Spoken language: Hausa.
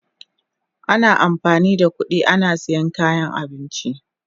Ana amfani da kudi ana siyan kayan abinci.